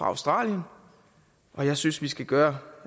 australien og jeg synes vi skal gøre